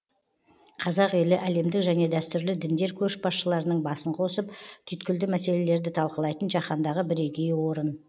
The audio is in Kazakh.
қазақ елі әлемдік және дәстүрлі діндер көшбасшыларының басын қосып түйткілді мәселелерді талқылайтын жаһандағы бірегей орын